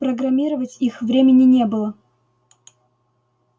программировать их времени не было